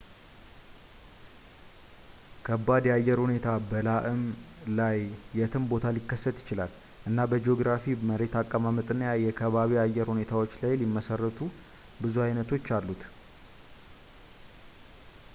ከባድ የአየር ሁኔታ በላእም ላይ የትም ቦታ ሊከሰት ይችላል እና በጂኦግራፊ መሬት አቀማመጥና የከባቢ አየር ሁኔታዎችን ላይ ሊመሰረቱ ብዙ አይነቶች አሉት